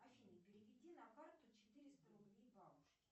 афина переведи на карту четыреста рублей бабушке